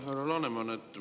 Härra Laneman!